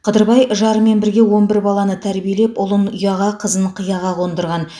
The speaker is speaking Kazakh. қыдырбай жарымен бірге он бір баланы тәрбиелеп ұлын ұяға қызын қияға қондырған